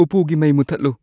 ꯎꯞꯄꯨꯒꯤ ꯃꯩ ꯃꯨꯠꯊꯠꯂꯨ